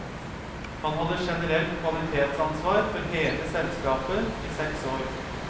Han hadde generelt kvalitetsansvar for hele selskapet i seks år.